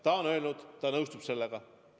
Ta on öelnud, et ta nõustub sellega.